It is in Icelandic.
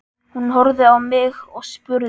Hún horfði á mig og spurði